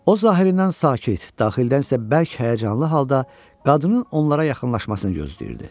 O, zahirindən sakit, daxildə isə bərk həyəcanlı halda qadının onlara yaxınlaşmasını gözləyirdi.